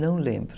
Não lembro.